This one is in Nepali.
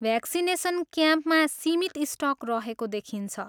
भ्याक्सिनेसन क्याम्पमा सीमित स्टक रहेको देखिन्छ।